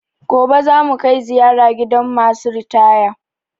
Gobe za mu kai ziyara gidan ma su ritaya